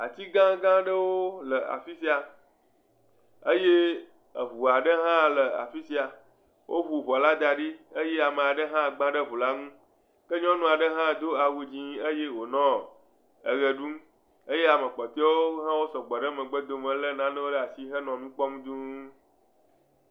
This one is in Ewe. Ati gãga aɖewo le afisia eye eʋua ɖe hã le afisia. Woʋu ʋɔ la da ɖi eye ame aɖe gbã le ʋu la ŋu ke nyɔnu aɖe hã do awu dzɛ eye wonɔ eɣe ɖum eye ame kpɔteawo hã sɔgbɔ ɖe megbe domi he le nawò ɖe asi henɔ nukpɔm dũu.